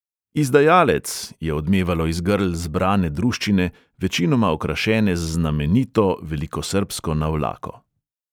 "Izdajalec!" je odmevalo iz grl zbrane druščine, večinoma okrašene z znamenito velikosrbsko navlako.